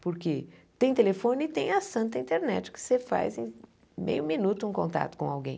Porque tem telefone e tem a santa internet que você faz em meio minuto um contato com alguém.